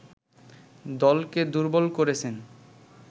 দলকে দুর্বল করেছেন